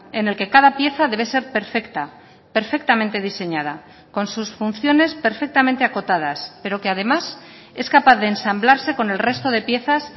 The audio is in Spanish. en el que cada pieza debe ser perfecta perfectamente diseñada con sus funciones perfectamente acotadas pero que además es capaz de ensamblarse con el resto de piezas